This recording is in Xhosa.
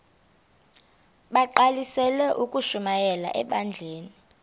bagqalisele ukushumayela ebandleni